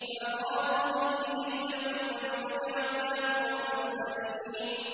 فَأَرَادُوا بِهِ كَيْدًا فَجَعَلْنَاهُمُ الْأَسْفَلِينَ